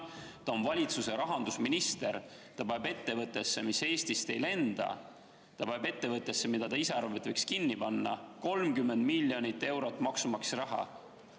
Ta oli valitsuse rahandusminister, ta pani ettevõttesse, mis Eestist ei lennanud, ettevõttesse, mille tema arvates võis kinni panna, 30 miljonit eurot maksumaksja raha.